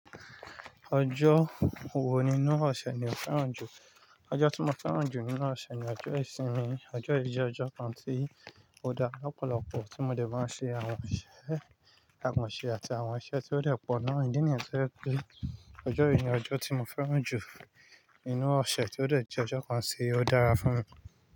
Ọjọ́ wo nínú ọ̀ṣẹ̀ ni o fẹ́ràn jù? Ọjọ́ tí mo fẹ́ràn jù nínú ọ̀ṣẹ̀ ni ọjọ́ ìsinmi. Ọjọ́ yìí jẹ́ ọjọ́ kan tí ó dá lọ̀pọ̀lọpọ̀ tí mo de máa ń ṣe àwọn iṣẹ́ àkansẹ àti àwọn iṣẹ́ tí ó de pọ̀ naa. Àwọn ìdí nìyẹn tó jẹ́ pé ọjọ́ yìí ni ọjọ́ tí mo fẹ́ràn jù nínú ọ̀ṣẹ̀ tí ó jẹ́ ọjọ́ kan tí ó dára fún mi.